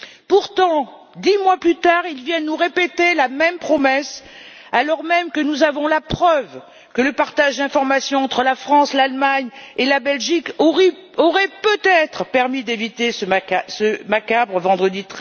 Pourtant, dix mois plus tard, ils viennent nous répéter la même promesse, alors même que nous avons la preuve que le partage d'informations entre la France, l'Allemagne et la Belgique aurait peut être permis d'éviter ce macabre vendredi